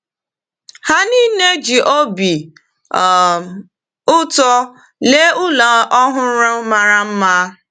Ha niile ji obi um ụtọ lee ụlọ ọhụrụ mara mma.